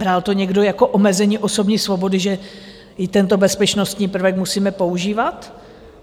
Bral to někdo jako omezení osobní svobody, že i tento bezpečnostní prvek musíme používat?